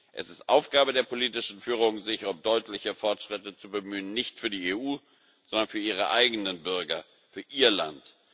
Es ist Aufgabe der politischen Führung, sich um deutliche Fortschritte zu bemühen nicht für die EU, sondern für ihre eigenen Bürger, für ihr Land.